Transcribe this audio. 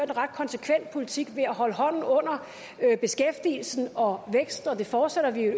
en ret konsekvent politik ved at holde hånden under beskæftigelsen og væksten det fortsætter vi i